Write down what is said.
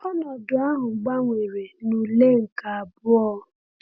Ọnọdụ ahụ gbanwere na ule nke abụọ.